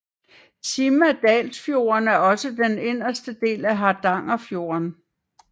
Simadalsfjorden er også den inderste del af Hardangerfjorden